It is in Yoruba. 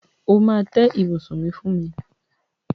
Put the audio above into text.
O máa tẹ́ ibùsùn mi fún mi.